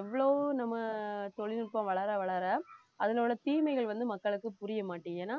எவ்ளோ நம்ம தொழில்நுட்பம் வளர வளர அதனோட தீமைகள் வந்து மக்களுக்கு புரியமாட்டேங்குது ஏன்னா